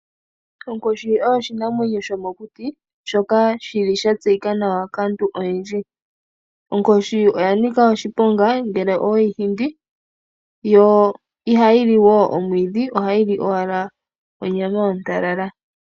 Onkoshi oyo oshinamwenyo shomokuti shoka shili sha tseyika nawa kaantu oyendji. Onkoshi oya nika oshiponga ngele owe yi hindi. Yo ihayi li omwiidhi, ohayi li owala onyama ontalala.